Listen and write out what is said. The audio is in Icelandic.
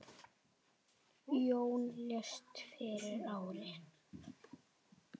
Jón lést fyrir ári.